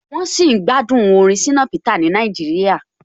Wọ́n sì ń gbádùn orin Shina Peter ni Nàìjíríà.